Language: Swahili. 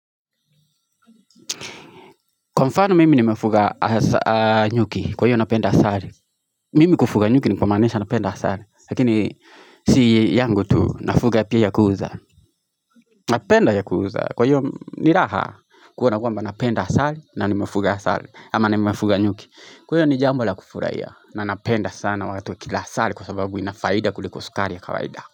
Kwa mfano mimi nimefuga nyuki kwa hiyo napenda asali Mimi kufuga nyuki nikuwa manesha napenda asali lakini Si yangu tuu nafuga pia ya kuuza Napenda ya kuuza kwa hiyo ni raha kuona kwamba napenda asali na nimefuga asali ama nimefuga nyuki kwa hiyo ni jambo la kufuraiya na napenda sana wagatue kila asali kwa sababu inafaida kuliko sukari ya kawaida.